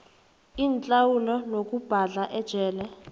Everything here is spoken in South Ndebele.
inhlawulo nokubhadla ejele